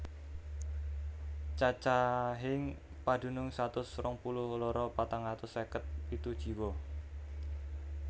Cacahing padunung satus rong puluh loro patang atus seket pitu jiwa